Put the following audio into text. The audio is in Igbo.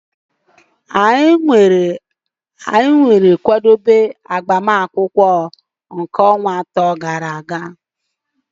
Anyị malitere kwadebe maka emume agbamakwụkwọ a ọnwa atọ gara aga